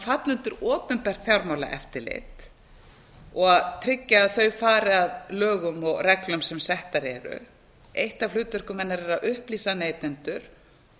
falla undir opinbert fjármálaeftirlit og tryggja að þau fari að lögum og reglum sem settar eru eitt af hlutverkum hennar er að upplýsa neytendur